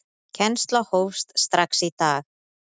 Kennsla hófst strax í dag.